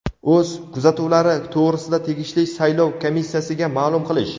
o‘z kuzatuvlari to‘g‘risida tegishli saylov komissiyasiga maʼlum qilish.